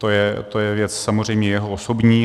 To je věc samozřejmě jeho osobní.